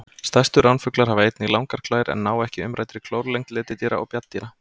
Stærstu ránfuglar hafa einnig langar klær en ná ekki umræddri klór lengd letidýra og bjarndýra.